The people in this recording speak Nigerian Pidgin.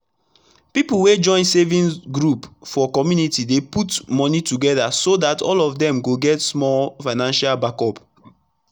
pipu wey join saving group for community dey put moni togeda so dat all of dem go get small financial backup